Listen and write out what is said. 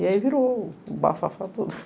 E aí virou o bafafá todo.